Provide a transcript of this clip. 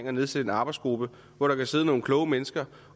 at nedsætte en arbejdsgruppe hvor der kan sidde nogle kloge mennesker